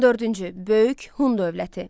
14-cü böyük Hun dövləti.